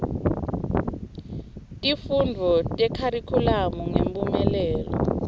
tifundvo tekharikhulamu ngemphumelelo